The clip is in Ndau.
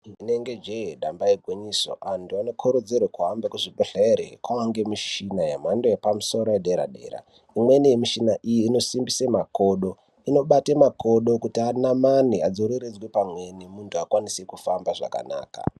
Rinenge jeee, damba igwinyiso antu anokurudzirwee kuhambe kuzvibhedhlere. Kwava nemichini yemhando yepamusoro, yedera dera, imweni yemishina iyi inosimbisa makodo, inobate makodo kuti anamane, adzoreredzwe pamweni, muntu akwanise kufamba zvakanaka